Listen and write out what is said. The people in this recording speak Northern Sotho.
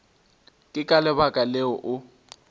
ke ka lebaka leo o